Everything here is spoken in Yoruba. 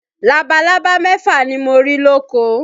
Labalábá mẹ́fà ni mo rí lóko